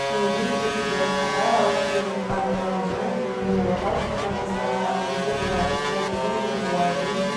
еңбек етуді қатар алып келе жатқан ғалымжан кейінгі отау құрған жастарға үлгі боларлықтай бүгінде олардың